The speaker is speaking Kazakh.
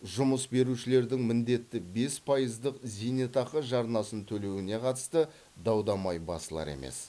жұмыс берушілердің міндетті бес пайыздық зейнетақы жарнасын төлеуіне қатысты дау дамай басылар емес